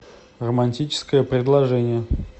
романтическое предложение